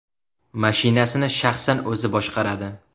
Mashinasini shaxsan o‘zi boshqaradi.